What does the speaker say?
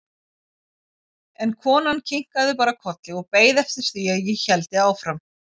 En konan kinkaði bara kolli og beið eftir því að ég héldi áfram.